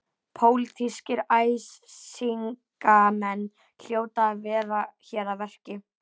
Pólitískir æsingamenn hljóta að vera hér að verki.